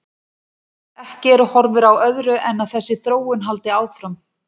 Ekki eru horfur á öðru en að þessi þróun haldi áfram.